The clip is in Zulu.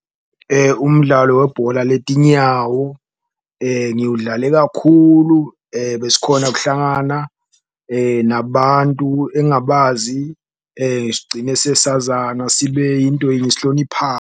Umdlalo webhola letinyawo ngiwudlale kakhulu, besikhona kuhlangana nabantu engabazi, sigcine sesazana sibe into yinye .